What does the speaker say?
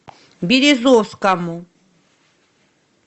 березовскому